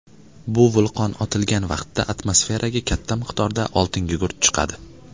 Bu vulqon otilgan vaqtda atmosferaga katta miqdorda oltingugurt chiqadi.